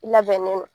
I labɛnnen don